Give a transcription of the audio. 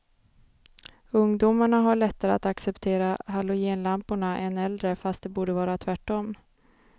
Ungdomarna har lättare att acceptera halogenlamporna än äldre fast det borde vara tvärtom.